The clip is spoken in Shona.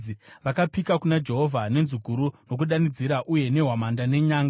Vakapika kuna Jehovha nenzwi guru nokudanidzira uye nehwamanda nenyanga.